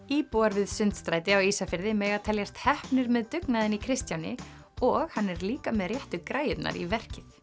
íbúar við Sundstræti á Ísafirði mega teljast heppnir með dugnaðinn í Kristjáni og hann er líka með réttu græjurnar í verkið